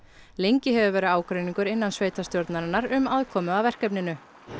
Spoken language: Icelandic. lengi hefur verið ágreiningur innan um aðkomu að verkefninu